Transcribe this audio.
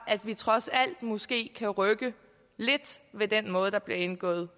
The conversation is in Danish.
at vi trods alt måske kan rykke lidt ved den måde der bliver indgået